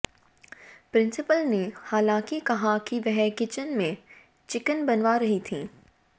principal ने हालांकि कहा कि वह किचन में चिकन बनवा रही थीं